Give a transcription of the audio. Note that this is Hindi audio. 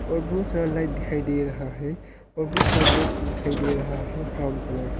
और बहुत सारा लाइट दिखाई दे रहा है और बहुत सारा बॉक्स दिखाई दे रहा है ब्राउन कलर का।